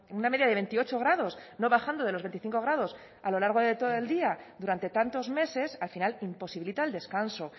una media de veintiocho grados no bajando de los veinticinco grados a lo largo de todo el día durante tantos meses al final imposibilita el descanso